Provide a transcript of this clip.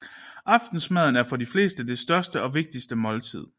Aftensmaden er for de fleste det største og vigtigste måltid